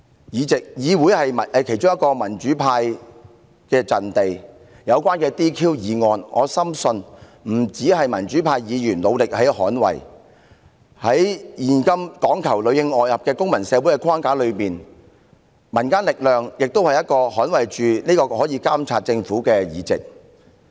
議會是民主派的其中一個陣地，就這項議案有關解除議員職務的要求，我深信不僅民主派議員會努力捍衞有關議員的議席，在現今講求裏應外合的公民社會，民間力量也可以幫忙捍衞我們監察政府的議席。